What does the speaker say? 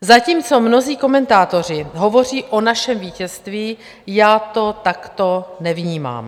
Zatímco mnozí komentátoři hovoří o našem vítězství, já to takto nevnímám.